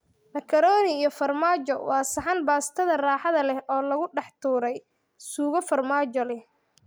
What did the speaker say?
Macaroni iyo farmaajo waa saxan baastada raaxada leh oo lagu dhex tuuray suugo farmaajo leh.